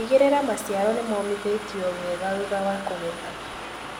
Tigĩrĩra maciaro nĩmomithĩtio wega thutha wa kũgetha.